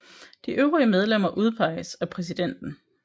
De øvrige medlemmer udpeges af præsidenten